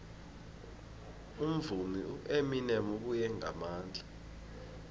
umvumi ueminem ubuye ngamandla